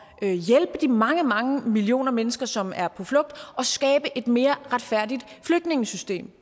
at hjælpe de mange mange millioner mennesker som er på flugt og skabe et mere retfærdigt flygtningesystem